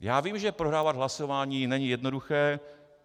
Já vím, že prohrávat hlasování není jednoduché.